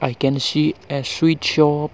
ican see a sweet shop.